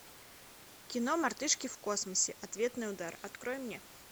кино мартышки в космосе ответный удар открой мне